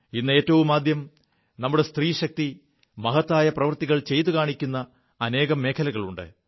ഇ് ഏറ്റവുമാദ്യം നമ്മുടെ സ്ത്രീശക്തി മഹത്തായ പ്രവൃത്തികൾ ചെയ്തുകാണിക്കു അനേകം മേഖലകളുണ്ട്